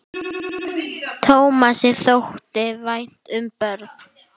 Tómasi þótti vænt um börn.